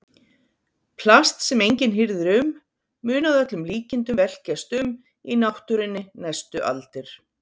Plast sem enginn hirðir um mun að öllum líkindum velkjast um í náttúrunni næstu aldir.